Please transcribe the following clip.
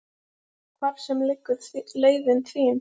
Hvar sem liggur leiðin þín.